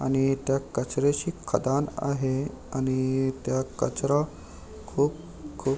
आणि इथ कचऱ्याची खदाण आहे आणि त्या कचरा खूप खु --